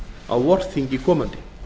á vorþingi komandi